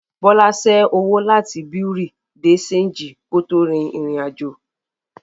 Bọ́lá ṣé owó láti Bùréàú de ṣéńjì kó tó rin ìrìn àjò